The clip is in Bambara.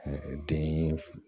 den fu